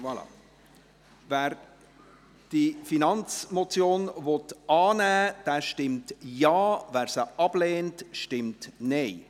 Voilà: Wer diese Finanzmotion annehmen will, stimmt Ja, wer diese ablehnt, stimmt Nein.